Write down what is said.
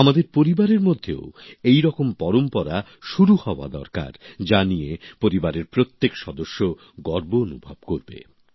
আমাদের পরিবারের মধ্যেও এই রকম পরম্পরা শুরু হওয়া দরকার যা নিয়ে পরিবারের প্রত্যেক সদস্য গর্ব অনুভব করবে